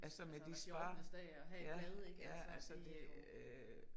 Altså med de spar. Ja ja altså det øh